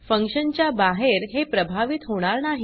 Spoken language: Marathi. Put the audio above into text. फंक्शन च्या बाहेर हे प्रभावित होणार नाही